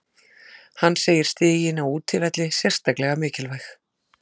Hann segir stigin á útivelli sérstaklega mikilvæg.